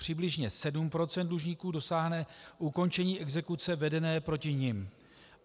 Přibližně 7 % dlužníků dosáhne ukončení exekuce vedené proti nim.